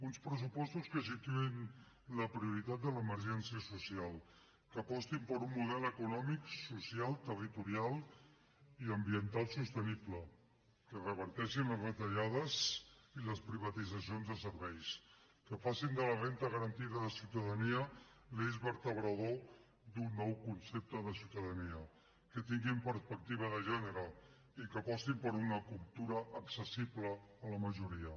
uns pressupostos que situïn la prioritat de l’emergència social que apostin per un model econòmic social territorial i ambiental sostenible que reverteixin les retallades i les privatitzacions de serveis que facin de la renda garantida de ciutadania l’eix vertebrador d’un nou concepte de ciutadania que tinguin perspectiva de gènere i que apostin per una cultura accessible a la majoria